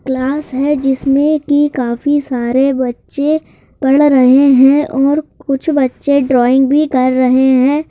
Class है जिसमें कि काफी सारे बच्चे पढ़ रहे हैं और कुछ बच्चे ड्राइंग भी कर रहे हैं।